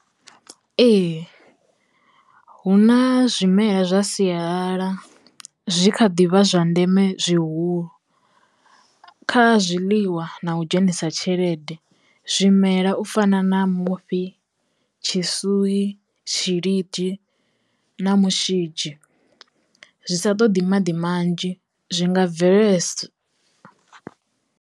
Ee hu na zwimela zwa sialala zwi kha ḓivha zwa ndeme zwihulu. Kha zwiḽiwa na u dzhenisa tshelede zwimela u fana na mufhi, tshisui, tshilidi na mushidzhi zwi sa ṱoḓi maḓi manzhi zwi nga bvele